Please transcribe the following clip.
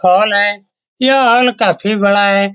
Hall है। यह hall काफी बड़ा है।